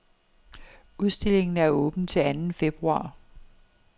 Udstillingen er åben til anden februar.